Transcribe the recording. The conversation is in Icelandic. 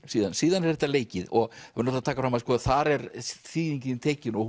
síðan síðan er þetta leikið og við verðum að taka fram að þar er þýðingin tekin og